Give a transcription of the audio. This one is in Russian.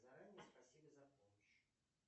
заранее спасибо за помощь